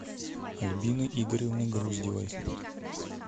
альбины игоревны груздевой